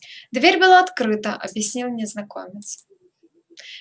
дверь была открыта объяснил незнакомец